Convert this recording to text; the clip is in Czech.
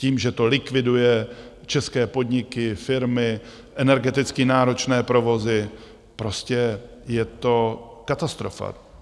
Tím, že to likviduje české podniky, firmy, energeticky náročné provozy, prostě je to katastrofa.